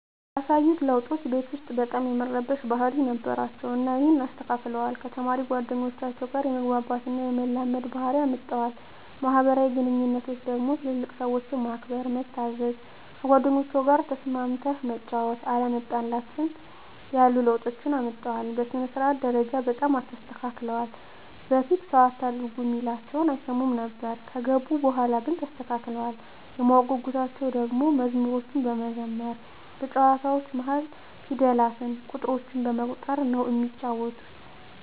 ያሳዩት ለዉጦች ቤት ዉስጥ በጣም የመረበሽ ባህሪ ነበራቸዉ እና ይሀንን አስተካክለዋል፣ ከተማሪ ጓደኞቻቸዉ ጋ የመግባባት እና የመላመድ ባህሪ አምጠዋል። በማህበራዊ ግንኙነቶች ደግሞ ትልልቅ ሰዎችን ማክበር፣ መታዘዝ፣ ከጓደኞቻቸዉ ጋ ተስማምተህ መጫወት፣ አለመጣላትን ያሉ ለዉጦችን አምጥተዋል። በሥነ-ስርዓት ደረጃ በጣም ተስተካክለዋል በፊት ሰዉ አታርጉ እሚላቸዉን አይሰሙም ነበር ከገቡ በኋላ ግን ተስተካክለዋል። የማወቅ ጉጉታቸዉ ደሞ መዝሙሮችን በመዘመር በጨዋታዎች መሀል ፊደላትን፣ ቁጥሮችን በመቁጠር ነዉ እሚጫወቱት።